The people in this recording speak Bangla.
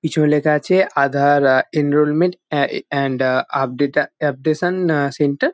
পিছনে লেখা আছে Aadhaar uh enrolment and uh update uh uh updation uh centre --